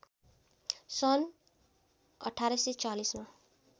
सन् १८४० मा